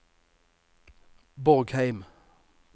Borgheim